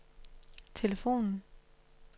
telefonen